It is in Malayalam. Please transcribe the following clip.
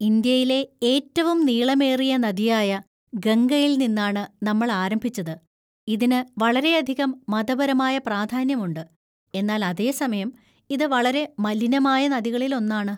ഇന്ത്യയിലെ ഏറ്റവും നീളമേറിയ നദിയായ ഗംഗയിൽ നിന്നാണ് നമ്മൾ ആരംഭിച്ചത്, ഇതിന് വളരെയധികം മതപരമായ പ്രാധാന്യമുണ്ട്, എന്നാൽ അതേ സമയം, ഇത് വളരെ മലിനമായ നദികളിൽ ഒന്നാണ്.